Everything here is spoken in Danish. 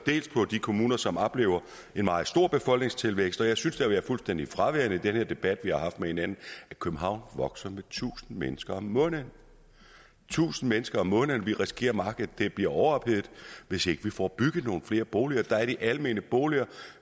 dels på de kommuner som oplever en meget stor befolkningstilvækst og jeg synes det har været fuldstændig fraværende i den debat vi har haft med hinanden at københavn vokser med tusind mennesker om måneden tusind mennesker om måneden vi risikerer at markedet bliver overophedet hvis ikke vi får bygget nogle flere boliger der er de almene boliger